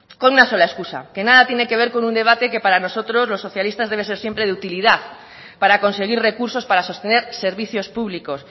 con una sola excusa que nada tiene que ver con un debate que para nosotros los socialistas debe ser siempre de utilidad para conseguir recursos para sostener servicios públicos